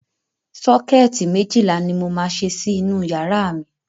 Sọ́kẹ́ẹ̀tì méjìlá ni mo máa ṣe sí inú yàrá mi.